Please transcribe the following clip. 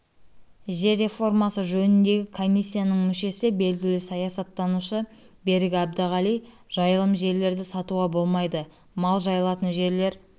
жер реформасы жөніндегі комиссияның мүшесі белгілі саясаттанушы берік әбдіғали жайылым жерлерді сатуға болмайды мал жайылатын жерлер